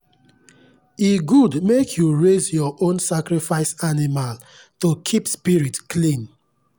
e good make you raise your own sacrifice animal to keep spirit clean.